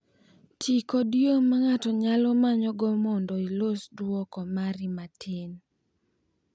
Ti kod yo ma ng’ato nyalo manyogo mondo ilos duoko mari matin.